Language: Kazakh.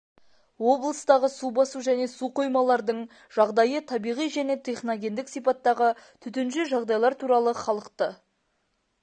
облыстағы су басу және су қоймалардың жағдайы табиғи және техногендік сипаттағы төтенше жағдайлар туралы халықты